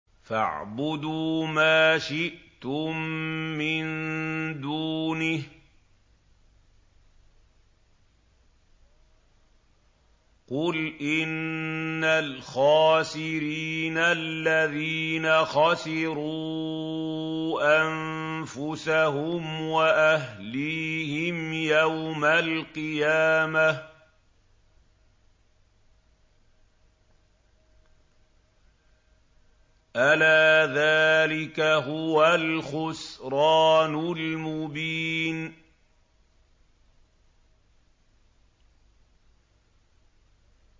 فَاعْبُدُوا مَا شِئْتُم مِّن دُونِهِ ۗ قُلْ إِنَّ الْخَاسِرِينَ الَّذِينَ خَسِرُوا أَنفُسَهُمْ وَأَهْلِيهِمْ يَوْمَ الْقِيَامَةِ ۗ أَلَا ذَٰلِكَ هُوَ الْخُسْرَانُ الْمُبِينُ